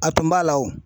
A tun b'a la wo